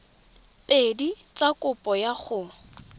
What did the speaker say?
pedi tsa kopo ya go